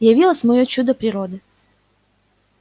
явилось моё чудо природы